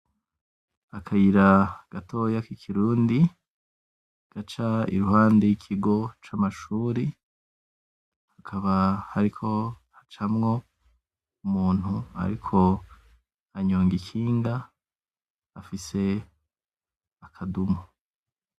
Akayira gatoya k'ikirundi, gaca iruhande y'ikigo c'amashuri hakaba hariko hacamwo umuntu ariko anyonga ikinga afise akadumu.